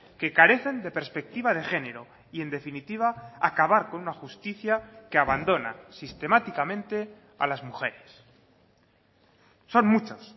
que carecen de perspectiva de género y en definitiva acabar con una justicia que abandona sistemáticamente a las mujeres son muchos